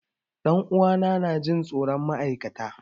Ɗan uwa na na Jin tsoron ma'aikata.